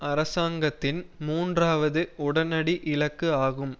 அரசாங்கத்தின் மூன்றாவது உடனடி இலக்கு ஆகும்